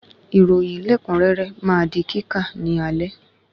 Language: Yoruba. Ìròyìn lẹkunrẹrẹ ma di kíkà ní alẹ́